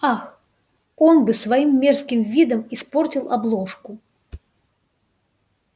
ах он бы своим мерзким видом испортил обложку